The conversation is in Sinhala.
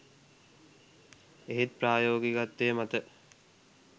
එහෙත් ප්‍රායෝගිකත්වය මත